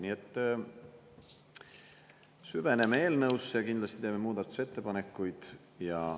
Nii et süveneme eelnõusse, kindlasti teeme muudatusettepanekuid.